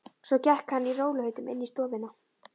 Svo gekk hann í rólegheitum inn í stofuna.